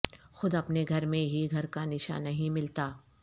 خود اپنے گھر میں ہی گھر کا نشان نہیں ملتا